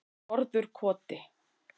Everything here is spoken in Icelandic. Norðurkoti